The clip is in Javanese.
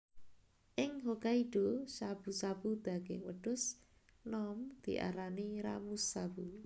Ing Hokkaido shabu shabu daging wedhus nom diarani Ramushabu